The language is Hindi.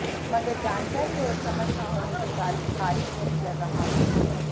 मगर जानकारी और समझ न होने के कारण खारिज नहीं कर रहा हूं